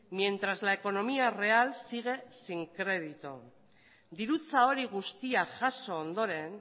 mientras la economía real sigue sin crédito dirutza hori guztia jaso ondoren